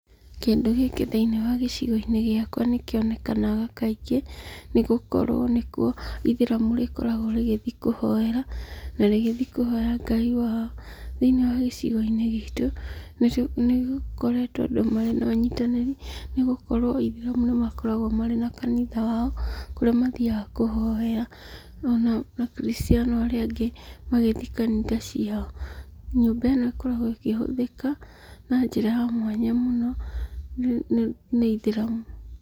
Kĩndũ gĩkĩ thĩiniĩ wa gĩcigo-inĩ gĩakwa nĩ kĩonekanaga kaingĩ nĩ gũkorwo nĩ kuo Ithĩramu rĩkoragwo rĩgĩthiĩ kũhoera na rĩgĩthiĩ kũhoya Ngai wao.Thĩiniĩ wa gĩcigo-inĩ gĩtũ, nĩ gũkoretwo andũ marĩ na ũnyitanĩrĩ nĩ gũkorwo lthĩramu nĩ makoragwo marĩ na kanitha wao kũrĩa mathiaga kũhoera,o nao Akristiano arĩa angĩ magĩthiĩ kanitha ciao. Nyũmba ĩno ĩkoragwo ĩkĩhũthĩka na njĩra ya mwanya mũno nĩ Ithĩramu.